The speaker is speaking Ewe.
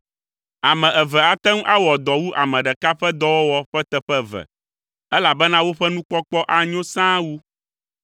Ame eve ate ŋu awɔ dɔ wu ame ɖeka ƒe dɔwɔwɔ ƒe teƒe eve elabena woƒe nukpɔkpɔ anyo sãa wu.